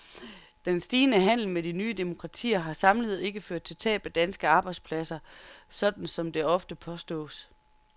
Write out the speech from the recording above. Den stigende handel med de nye demokratier har samlet ikke ført til tab af danske arbejdspladser, sådan som det ofte påstås.